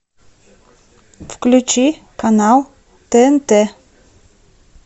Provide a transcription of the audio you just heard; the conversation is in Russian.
включи канал тнт